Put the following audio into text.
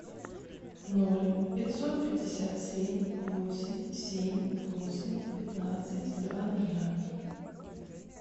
ноль пятьсот пятьдесят семь восемь семь восемь пятнадцать два ноля